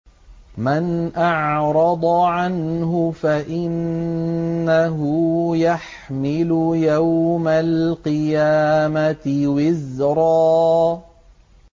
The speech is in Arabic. مَّنْ أَعْرَضَ عَنْهُ فَإِنَّهُ يَحْمِلُ يَوْمَ الْقِيَامَةِ وِزْرًا